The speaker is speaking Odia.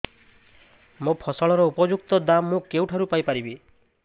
ମୋ ଫସଲର ଉପଯୁକ୍ତ ଦାମ୍ ମୁଁ କେଉଁଠାରୁ ପାଇ ପାରିବି